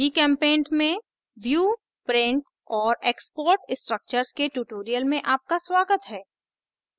gchempaint में view print और export structures के tutorial में आपका स्वागत है